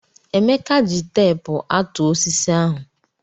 Emeka ji teepu àtụ́ osisi ahụ.